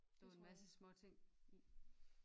Lå en masse småting i